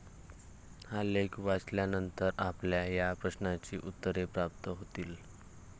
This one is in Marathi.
हा लेख वाचल्यानंतर आपल्याला या प्रश्नांची उत्तरे प्राप्त होतील.